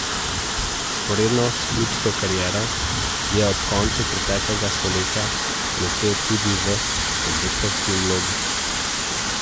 Vzporedno s klubsko kariero je ob koncu preteklega stoletja blestel tudi v selektorski vlogi.